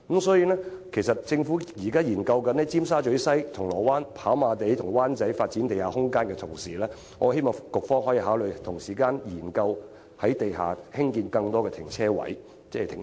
所以，適逢政府正在研究於尖沙咀西、銅鑼灣、跑馬地和灣仔發展地下空間之時，我希望局方可以同時考慮在地下興建更多停車場。